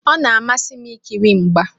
Ọ na-amasị m ikiri mgba.